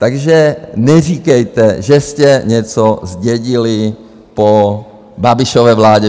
Takže neříkejte, že jste něco zdědili po Babišově vládě.